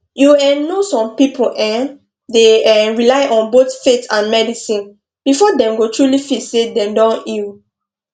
you um know some people um dey um rely on both faith and medicine before dem go truly feel say dem don heal